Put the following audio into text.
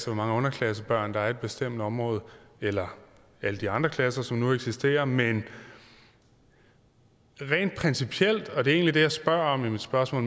hvor mange underklassebørn der er i et bestemt område eller alle de andre klasser som nu eksisterer men rent principielt og det er egentlig det jeg spørger om i mit spørgsmål